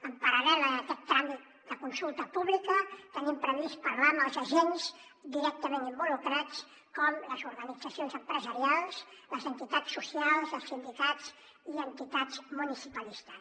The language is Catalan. en paral·lel a aquest tràmit de consulta pública tenim previst parlar amb els agents directament involucrats com les organitzacions empresarials les entitats socials els sindicats i entitats municipalistes